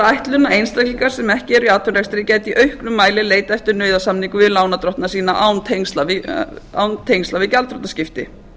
ætlunin að einstaklingar sem ekki eru í atvinnurekstri gætu í auknum mæli leitað eftir nauðasamningum við lánardrottna sína án tengsla við gjaldþrotaskipti